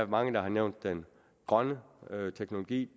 mange har nævnt den grønne teknologi